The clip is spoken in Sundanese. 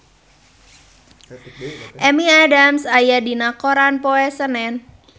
Amy Adams aya dina koran poe Senen